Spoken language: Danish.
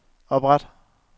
opret